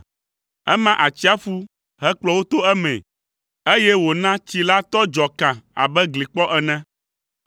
Ema atsiaƒu, hekplɔ wo to emee, eye wòna tsi la tɔ dzɔ kã abe glikpɔ ene.